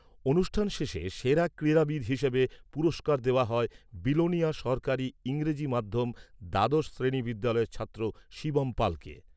অনুষ্ঠান শেষে সেরা ক্রীড়াবিদ হিসাবে পুরস্কার দেওয়া হয় বিলোনিয়া সরকারী ইংরেজি মাধ্যম দ্বাদশ শ্রেণী বিদ্যালয়ের ছাত্র শিবম পালকে।